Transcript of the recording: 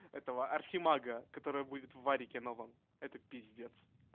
этого архимага которая будет в варике новом это пиздец